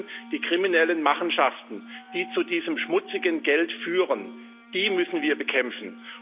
Wir müssen die kriminellen Machenschaften, die zu diesem schmutzigen Geld führen, bekämpfen.